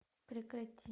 прекрати